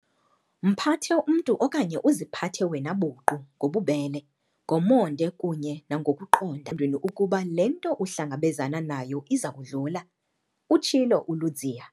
"Mphathe umntu okanye uziphathe wena buqu ngobubele, ngomonde kunye nangokuqonda, engqondweni ukuba le nto uhlangabezana nayo iza kudlula," utshilo uLudziya.